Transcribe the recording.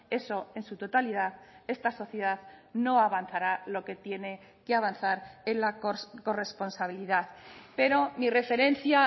eso en su totalidad esta sociedad no avanzará lo que tiene que avanzar en la corresponsabilidad pero mi referencia